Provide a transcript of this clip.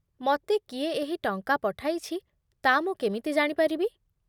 ମତେ କିଏ ଏହି ଟଙ୍କା ପଠାଇଛି, ତା' ମୁଁ କେମିତି ଜାଣିପାରିବି ?